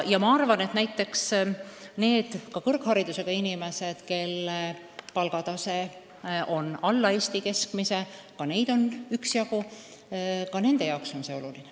Ma arvan, et näiteks ka kõrgharidusega inimeste jaoks, kelle palgatase on alla Eesti keskmise – neid on üksjagu –, on see oluline.